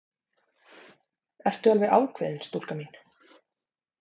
Ertu alveg ákveðin, stúlka mín?